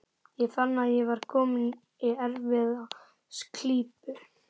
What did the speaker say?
Ég fann að ég var kominn í erfiða klípu.